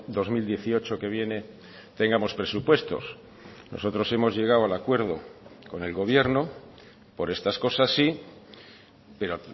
dos mil dieciocho que viene tengamos presupuestos nosotros hemos llegado al acuerdo con el gobierno por estas cosas sí pero